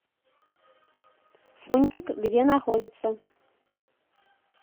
фунтик где находится